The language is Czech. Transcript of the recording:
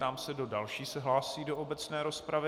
Ptám se, kdo další se hlásí do obecné rozpravy.